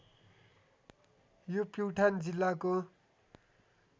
यो प्युठान जिल्लाको